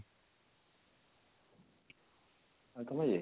ଆଉ ତମର ୟେ